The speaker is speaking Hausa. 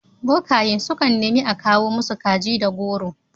Bokaye sukan neni a kawo masu kaji da goro.